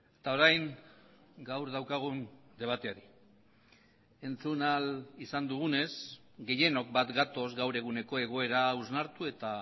eta orain gaur daukagun debateari entzun ahal izan dugunez gehienok bat gatoz gaur eguneko egoera hausnartu eta